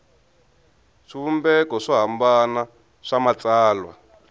swivumbeko swo hambana swa matsalwa